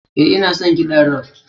Ee, ina son kiɗan rock.